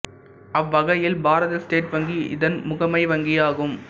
அவ்வகையில் பாரத ஸ்டேட் வங்கி இதன் முகமை வங்கி ஆகும்